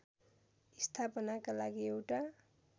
स्थापनाका लागि एउटा